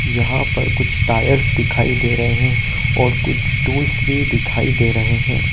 यहां पर कुछ टायर्स दिखाई दे रहे हैं और कुछ टूल्स भी दिखाई दे रहे हैं ।